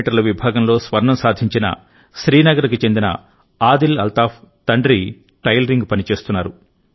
మీ విభాగంలో స్వర్ణం సాధించిన శ్రీనగర్కు చెందిన ఆదిల్ అల్తాఫ్ తండ్రి టైలరింగ్ పని చేస్తున్నారు